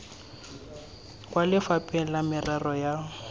kwa lefapheng la merero ya